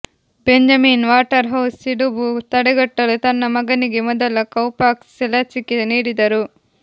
Benjamin Waterhouse ಸಿಡುಬು ತಡೆಗಟ್ಟಲು ತನ್ನ ಮಗನಿಗೆ ಮೊದಲ ಕೌ ಪಾಕ್ಸ್ ಲಸಿಕೆ ನೀಡಿದರು